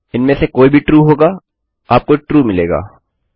इनमें से कोई भी ट्रू होगा आपको ट्रू मिलेगा